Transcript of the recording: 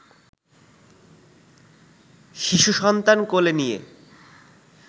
শিশু সন্তান কোলে নিয়ে